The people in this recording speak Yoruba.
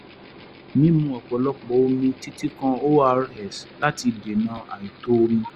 mímu ọ̀pọ̀lọpọ̀ omi títí kan ors láti dènà àìtó omi